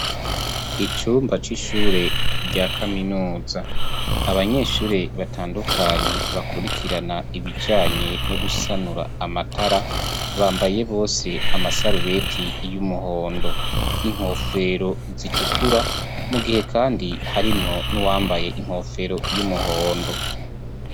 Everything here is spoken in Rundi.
Icumba c'ishure rya kaminuza ,abanyeshure batandukanye bakurikirana ibijanye no gusanura amatara ,bambaye bose amasarubeti y'umuhondo, inkofero zitukura, mu gihe kandi harimwo n'uwambaye inkofero y'umuhondo.